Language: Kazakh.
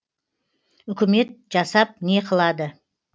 үкімет жасап не қылады